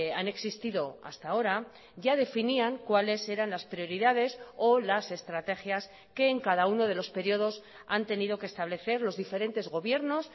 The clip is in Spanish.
han existido hasta ahora ya definían cuáles eran las prioridades o las estrategias que en cada uno de los periodos han tenido que establecer los diferentes gobiernos